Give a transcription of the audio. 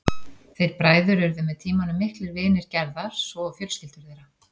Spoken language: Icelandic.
Þeir bræður urðu með tímanum miklir vinir Gerðar svo og fjölskyldur þeirra.